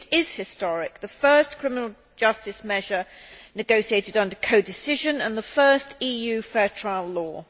It is historic, being the first criminal justice measure negotiated under codecision and the first EU fair trial law.